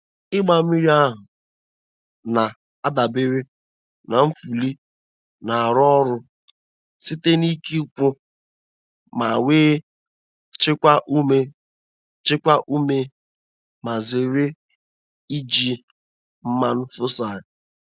Ịgba mmiri ha na-adabere na nfuli na-arụ ọrụ site n’ike ụkwụ, ka ewee chekwaa ume chekwaa ume ma zere iji mmanụ fosil.